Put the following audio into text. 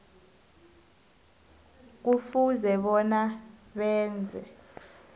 kufuze bona benze